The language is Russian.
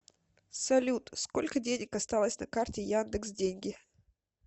салют сколько денег осталось на карте яндекс деньги